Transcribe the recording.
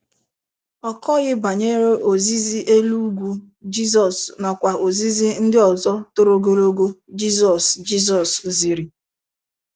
Ọ kọghị banyere Ozizi Elu Ugwu Jizọs nakwa ozizi ndị ọzọ toro ogologo Jizọs Jizọs ziri.